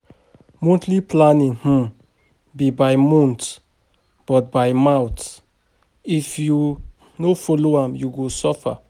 Monthly planning no be by mouth, if you no follow am, you go suffer.